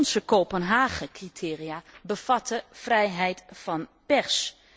Onze Kopenhagen criteria bevatten 'vrijheid van pers'.